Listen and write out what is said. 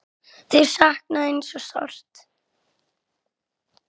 Þau sakna þín svo sárt.